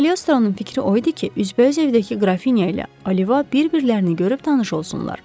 Kaliostronun fikri o idi ki, üzbəüz evdəki Qrafinya ilə Oliva bir-birlərini görüp tanış olsunlar.